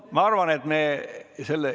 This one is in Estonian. Ma arvan, et me selle...